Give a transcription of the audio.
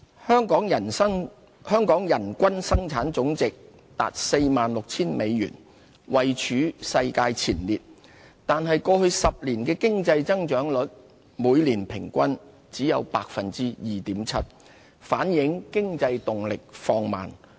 香港人均生產總值達 46,000 美元，位處世界前列，但過去10年的經濟增長率每年平均只有 2.7%， 反映經濟動力放慢。